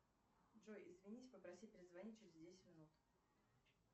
джой извинись попроси перезвонить через десять минут